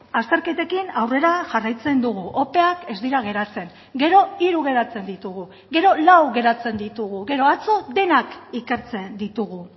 azterketekin aurrera jarraitzen dugu opeak ez dira geratzen gero hiru geratzen ditugu gero lau geratzen ditugu gero atzo denak ikertzen ditugu